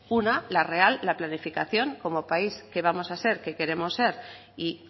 una la real la planificación como país que vamos a ser que queremos ser y